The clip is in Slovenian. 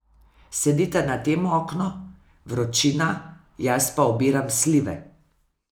Sedita na tem oknu, vročina, jaz pa obiram slive.